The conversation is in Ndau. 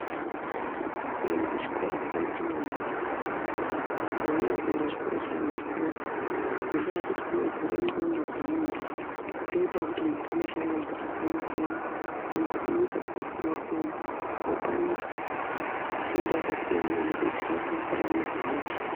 Kuenda kuchikora kwakanaka maningi. Kunyanyanyanya kuenda kuchikoro cheanhu akuru ngendaa yekuti kunovhura nxondo dzemuntu. Zvinoitawo kuti munhu aone shamwari dzakasiyana siyana, dzinobve kunyika dzakasiyana siyana. Mopane fundo yakasiyana inodetsera mukurarama kwemuntu.